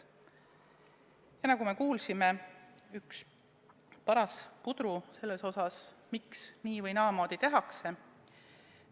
See on, nagu me kuulsime, üks paras puder selles mõttes, et me ei tea, miks nii- või naamoodi tehakse.